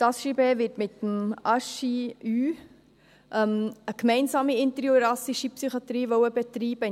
Das HJB will mit dem Hôpital du Jura (HJU) eine gemeinsame interjurassische Psychiatrie in Moutier betreiben.